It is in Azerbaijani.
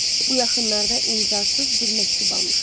Bu yaxınlarda imzasız bir məktub almışam.